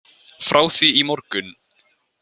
Frá því í morgun.